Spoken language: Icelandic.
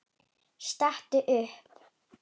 Stattu upp!